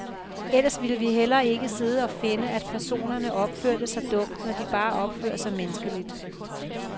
Ellers ville vi heller ikke sidde og finde, at personerne opførte sig dumt, når de bare opfører sig menneskeligt.